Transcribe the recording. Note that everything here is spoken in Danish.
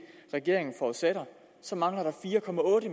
regeringen forudsætter så mangler der fire